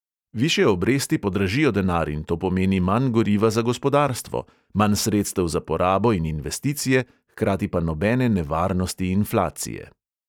Višje obresti podražijo denar in to pomeni manj goriva za gospodarstvo: manj sredstev za porabo in investicije, hkrati pa nobene nevarnosti inflacije.